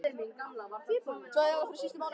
Tvær jarðarfarir síðustu mánuði, sagði hann.